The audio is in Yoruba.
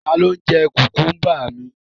Ta ló jẹ́ kùkúmbà mi?